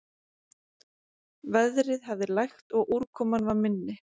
Veðrið hafði lægt og úrkoman var minni